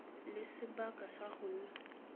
le sebaka sa go nna